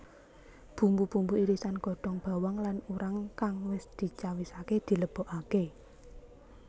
Bumbu bumbu irisan godhong bawang lan urang kang wis dicawisake dilebokake